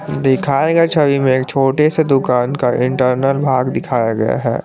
दिखाए गए छवि में एक छोटे से दुकान का इंटरनल भाग दिखाया गया है।